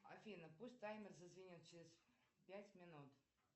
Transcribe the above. афина пусть таймер зазвенит через пять минут